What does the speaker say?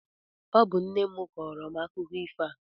Ọ bụ nne m kọọrọ m akụkọ ifo a.